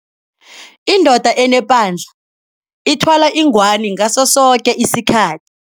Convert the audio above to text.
Indoda enepandla ithwala ingwani ngaso soke isikhathi.